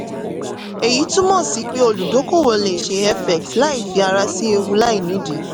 èyí túmọ̀ sí pé òludókòowò lè ṣe fx láì fi ara sí ewu láìnídìí.